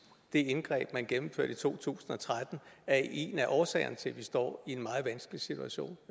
det indgreb man gennemførte i to tusind og tretten er en af årsagerne til at vi står i en meget vanskelig situation